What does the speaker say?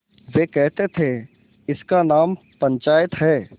वे कहते थेइसका नाम पंचायत है